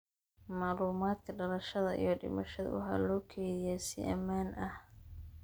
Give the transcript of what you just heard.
Macluumaadka dhalashada iyo dhimashada waxaa loo kaydiyaa si ammaan ah.